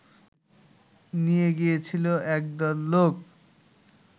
নিয়ে গিয়েছিল একদল লোক